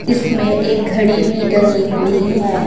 इसमें एक घड़ी भी टंगी हुई है।